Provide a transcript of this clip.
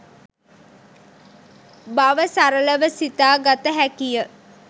බව සරලව සිතා ගත හැකි ය.